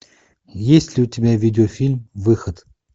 есть ли у тебя видеофильм выход